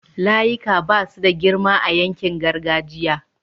layika Basu da girma a yankin gargajiya